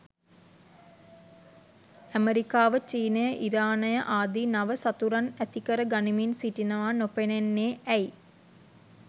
ඇමරිකාව චීනය ඉරානය ආදී නව සතුරන් ඇති කර ගනිමින් සිටිනවා නොපෙනෙන්නේ ඇයි?